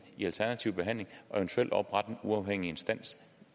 i alternativ behandling og eventuelt oprette en uafhængig instans